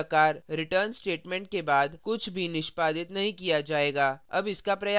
इस प्रकार return statement के बाद कुछ भी निष्पादित नहीं किया जाएगा अब इसका प्रयास करें